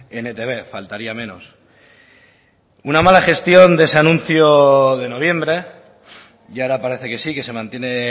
en etb faltaría menos una mala gestión de ese anuncio de noviembre y ahora parece que sí que se mantiene